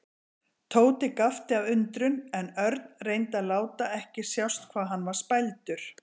Tóti gapti af undrun en Örn reyndi að láta ekki sjást hvað hann var spældur.